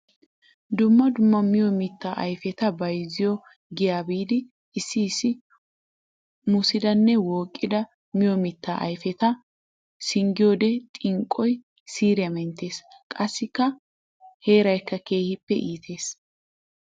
Dumma dumma miyo mitta ayfetta bayzziyo giya biidi issi issi mussidanne wooqidda miyo mitta ayfetta singgiyodde xinqqoy siiriya menttes! Qassikka heerayikka keehippe iittes.